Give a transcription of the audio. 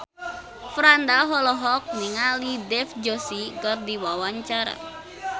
Franda olohok ningali Dev Joshi keur diwawancara